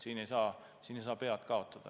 Siin ei tohi pead kaotada.